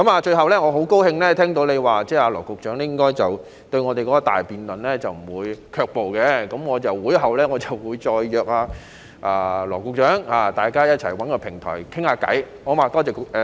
最後，我很高興聽到你說羅局長對我們的大辯論應該不會卻步，我在會後再約羅局長，大家找一個平台談談，好嗎？